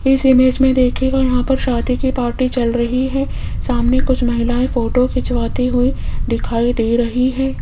इस इमेज में देखियेगा यहां पर शादी की पार्टी चल रही है सामने कुछ महिलाएं फोटो खिंचवाती हुई दिखाई दे रही हैं।